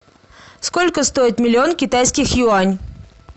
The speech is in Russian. сколько стоит миллион китайских юань